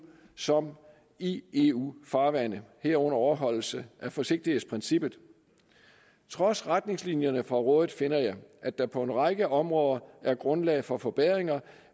som i eu farvande herunder overholdelse af forsigtighedsprincippet trods retningslinjerne fra rådet finder jeg at der på en række områder er grundlag for forbedringer